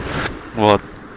вот